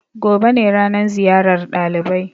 Gobe ne ranan ziyar ɗalibai.